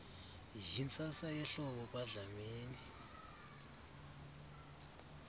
yintsasa yehlobo kwadlamini